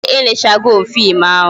Ee, e lelechego m fim ahụ